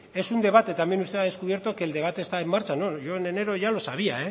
es un debate también usted ha descubierto que el debate está en marcha no yo en enero